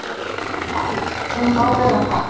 Æi, hún má vera þar.